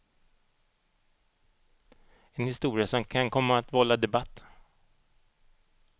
En historia som kan komma att vålla debatt.